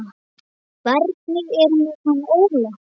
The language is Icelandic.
Hvernig er með hann Óla?